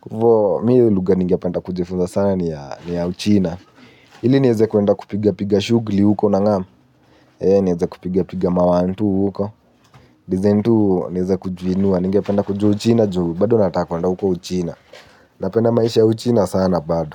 Kufo mi lugha ninge penda kuja funza sana ni ya uchina. Ili nieze kuenda kupiga piga shugli huko na ngamu. Nieze kupiga piga mawantu huko. Nieze tu nieze kujiinua ningependa kuja uchina juu bado nataka kuenda huko uchina. Napenda maisha ya uchina sana bado.